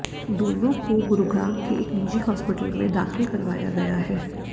दोनों को गुरुग्राम के एक निजी हॉस्पिटल में दाखिल करवाया गया है